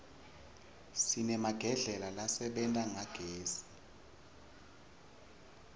sinemagedlela lasebenta ngagezi